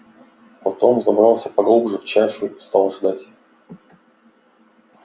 потом забрался поглубже в чащу и стал ждать